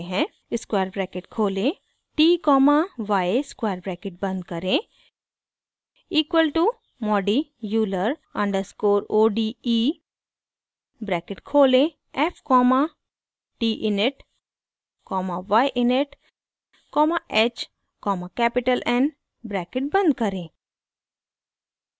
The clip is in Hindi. स्क्वायर ब्रैकेट खोलें t comma y square bracket बंद करें equal to modi euler underscore o d e bracket खोलें f comma t init comma y init comma h comma capital n bracket बंद करें